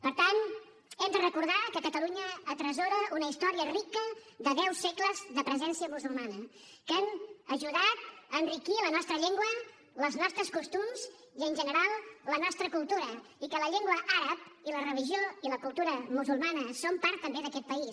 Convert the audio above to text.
per tant hem de recordar que catalunya atresora una història rica de deu segles de presència musulmana que han ajudat a enriquir la nostra llengua els nostres costums i en general la nostra cultura i que la llengua àrab i la religió i la cultura musulmanes són part també d’aquest país